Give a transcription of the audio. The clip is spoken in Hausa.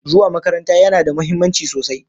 Zuwa makaranta yana da mahimmanci sosai